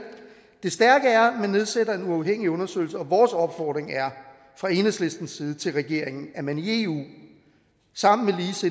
det stærke er at man nedsætter en uafhængig undersøgelse og vores opfordring fra enhedslistens side til regeringen er at man i eu sammen